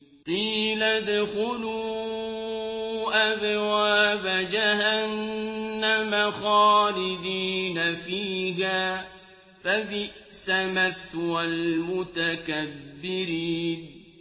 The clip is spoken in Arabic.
قِيلَ ادْخُلُوا أَبْوَابَ جَهَنَّمَ خَالِدِينَ فِيهَا ۖ فَبِئْسَ مَثْوَى الْمُتَكَبِّرِينَ